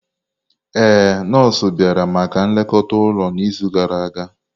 Ee, nọọsụ bịara maka nlekọta ụlọ n'izu gara aga.